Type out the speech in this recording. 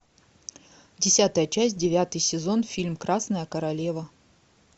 десятая часть девятый сезон фильм красная королева